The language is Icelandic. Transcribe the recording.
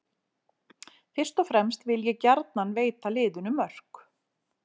Fyrst og fremst vil ég gjarnan veita liðinu mörk.